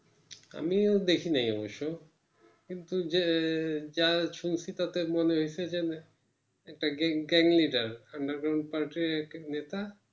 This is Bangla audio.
আমিও দেখিনি অবশ্যই কিন্তু যে যা শুনছি তাতে মনে হয়েছে একটা gang leader underground part এ একটা নেতা